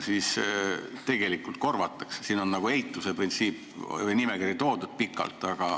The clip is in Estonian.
Siin on toodud n-ö eituse printsiip või pikk nimekiri.